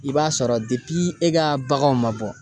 I b'a sɔrɔ e ka baganw ma bɔ